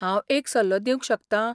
हांव एक सल्लो दिवंक शकतां.